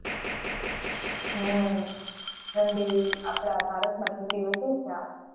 હમ ઠંડી, આપણા ભારતમાં ઠંડી વધુ જ છે, આ વખતે